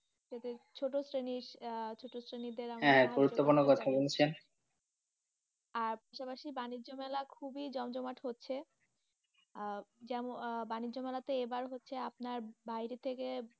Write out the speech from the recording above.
যাতে ছোট শ্রেণী আহ ছোট শ্রেণীদেড়, হ্যাঁ গুরুত্বপূর্ণ কথা বলেছেন, আর সমাসির বানিজ্য মেলা খুবই জমজমাট হচ্ছে আহ যেমন বানিজ্য মেলাতে এবার হচ্ছে, আপনার বাইরে থেকে।